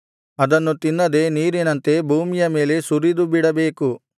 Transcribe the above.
ಅದನ್ನು ತಿನ್ನದೆ ನೀರಿನಂತೆ ಭೂಮಿಯ ಮೇಲೆ ಸುರಿದುಬಿಡಬೇಕು